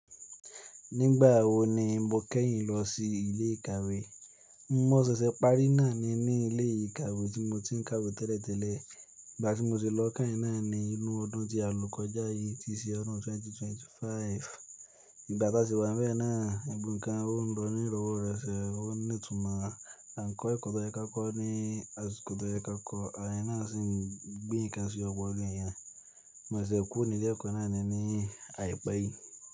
Nígbà wo ni mo kẹ́yìn lọ sí ilé ìkàwé? Mo ṣẹ̀ṣẹ̀ parí náà ni ní ilé ìkàwé tí mo ti ń kàwé tẹ́lẹ̀tẹ́lẹ̀. Ìgbà tí mo ti lọ keyìn náà ni inú ọdún tí a lọ kọjá yìí, tí í si ọdún 2025. Ìgbà tá a sì wá n bẹ́ẹ̀ náà, gbogbo nnkan o n lọ ní ìrọ̀wọ́roṣo ọ́ n ní ìtumọ̀. A ń kọ ekọ̀ tọ̀yẹ ka kọ́ ní àsìkò tó ye ka kọ́, àwon eeyan náà sì ń gbé nnkan sí ọpọ́lo èèyàn. Mọ̀ se ṣe kúro ni ilé ẹ̀kọ́ náà ni ní àìpẹ́ yìí.